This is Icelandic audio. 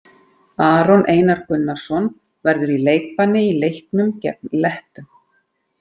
Aron Einar Gunnarsson verður í leikbanni í leiknum gegn Lettum.